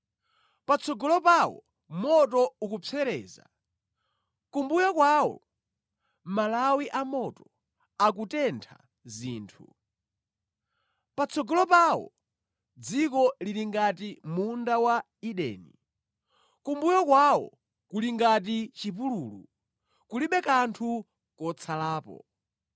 Patsogolo pawo moto ukupsereza, kumbuyo kwawo malawi amoto akutentha zinthu. Patsogolo pawo dziko lili ngati munda wa Edeni, kumbuyo kwawo kuli ngati chipululu, kulibe kanthu kotsalapo.